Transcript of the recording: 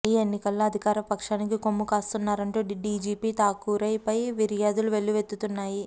ఈ ఎన్నికల్లో అధికార పక్షానికి కొమ్ము కాస్తున్నారంటూ డీజీపీ ఠాకూర్పై ఫిర్యాదులు వెల్లువెత్తుతున్నాయి